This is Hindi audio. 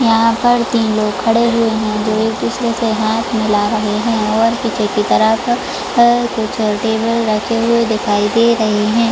यहां पर तीन लोग खड़े हुए हैं जो एक दूसरे के साथ हाथ मिला रहे हैंऔर पीछे की तरफ चलते हुए बैठे हुए दिखाई दे रहे है।